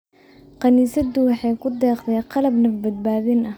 Kaniisaddu waxay ku deeqday qalab naf-badbaadin ah.